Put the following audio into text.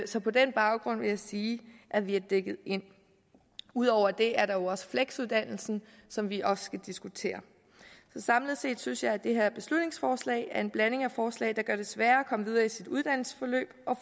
så på den baggrund vil jeg sige at vi er dækket ind ud over det er der jo også fleksuddannelsen som vi også skal diskutere så samlet set synes jeg at det her beslutningsforslag er en blanding af forslag der gør det sværere at komme videre i sit uddannelsesforløb og